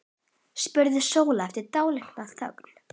spurði Sóla eftir dálitla þögn.